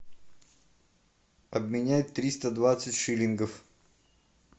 обменять триста двадцать шиллингов